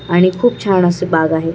आणि खूप छान अस बाग आहे.